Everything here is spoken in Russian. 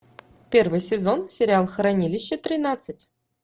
первый сезон сериал хранилище тринадцать